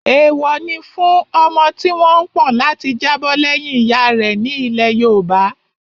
Èèwọ̀ ni fún ọmọ tí wọ́n pọ̀n láti jábọ̀ lẹ́yìn ìyá rẹ̀ ní ilẹ̀ yoòbá